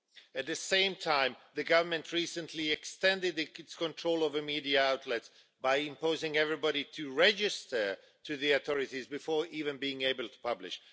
At the same time, the government recently extended its control over media outlets by compelling everybody to register with the authorities before even being able to publish.